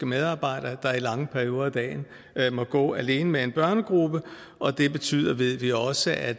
medarbejdere der i lange perioder af dagen må gå alene med en børnegruppe og det betyder det ved vi også at